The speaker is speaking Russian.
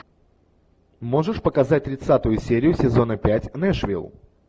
можешь показать тридцатую серию сезона пять нэшвилл